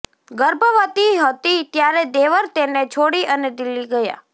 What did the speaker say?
ગર્ભવતી હતી ત્યારે દેવર તેને છોડી અને દિલ્હી ગયા